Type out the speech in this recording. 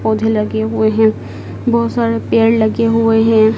पौधे लगे हुए हैं बहोत सारे पेड़ लगे हुए हैं।